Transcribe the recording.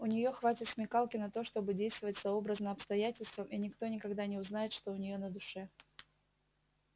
у неё хватит смекалки на то чтобы действовать сообразно обстоятельствам и никто никогда не узнает что у неё на душе